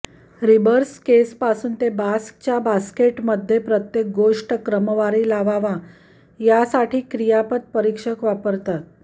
रीबर्क्सेसपासून ते बास्कच्या बास्केटमध्ये प्रत्येक गोष्ट क्रमवारी लावावा यासाठी क्रियापद परीक्षक वापरतात